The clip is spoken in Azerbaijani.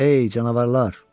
Ey canavarlar.